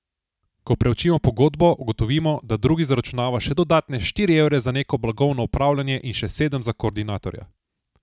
Ko preučimo pogodbo, ugotovimo, da drugi zaračunava še dodatne štiri evre za neko blagovno upravljanje in še sedem za koordinatorja.